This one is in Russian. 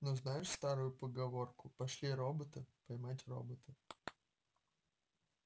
но знаешь старую поговорку пошли робота поймать робота